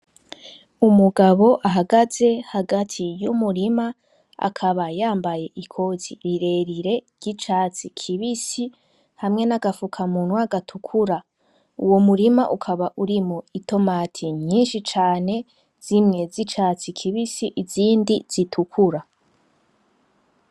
Umugabo ahagaze hagati y'umurima akaba yambaye ikoti rirerire ry'icatsi kibisi hamwe na agapfukamunwa gatukura, uwo murima ukaba urimwo itomati nyinshi cane zimwe z'icatsi kibisi izindi zitukura